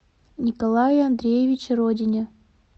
николае андреевиче родине